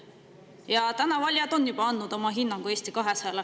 Ja tänaseks on valijad juba andnud oma hinnangu Eesti 200-le.